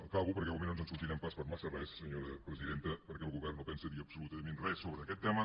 acabo perquè igualment no ens en sortirem pas per massa res senyora presidenta perquè el govern no pensa dir absolutament res sobre aquest tema